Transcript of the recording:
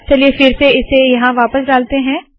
चलिए फिर से इसे यहाँ वापस डालते है